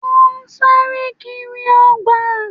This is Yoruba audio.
Wọ́n sáré kiri ọgbà